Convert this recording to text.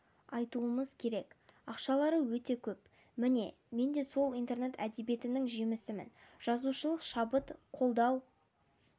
айтуымыз керек ақшалары өте көп міне мен де сол интернет әдебиетінің жемісімін жазушылық шабыт қолдау